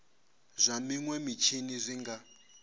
zwa minwe mitshini zwi nga